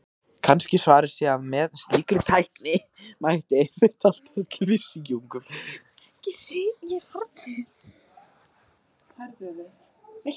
Kannski svarið sé að með slíkri tækni mætti einmitt halda öllum síungum.